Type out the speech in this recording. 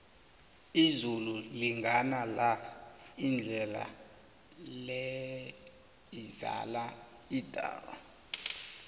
izulu lingana la indlela le izala idaka